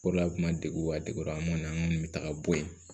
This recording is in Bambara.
O de la a kun ma degun ka degun an kɔni an kɔni bɛ taga bɔ yen